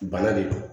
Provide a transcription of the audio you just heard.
Bana de don